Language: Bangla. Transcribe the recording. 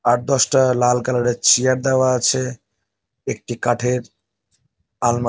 আট দশটা-আ লাল কালার -এর চেয়ার দেওয়া আছে। একটি কাঠের আলমা --